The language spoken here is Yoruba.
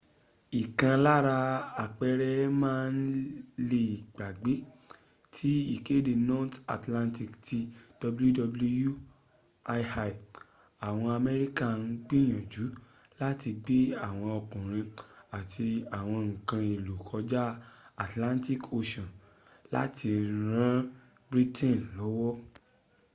ìkan lára àpẹrẹ́ má le gbàgbé ti ìkéde north atlantic ti wwii. àwọn amẹ́ríkà ń gbìyànjú láti gbé àwọn ọkùnrin àti àwọn ǹkan èlò kọjá atlantic ocean láti ran britain lọ́wọ́